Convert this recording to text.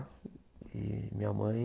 E minha mãe...